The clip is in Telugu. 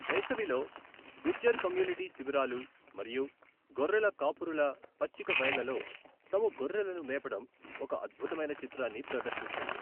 వేసవిలో, గుజ్జర్ కమ్యూనిటీ శిబిరాలు మరియు గొర్రెల కాపరులు పచ్చిక బయళ్లలో తమ గొర్రెలను మేపడం ఒక అద్భుతమైన చిత్రాన్ని ప్రదర్శిస్తుంది.